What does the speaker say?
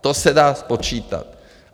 To se dá spočítat.